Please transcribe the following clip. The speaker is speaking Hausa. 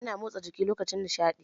Ina motsa jiki lokacin nishaɗi.